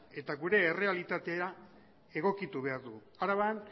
eta gure errealitatera egokitu behar dugu araban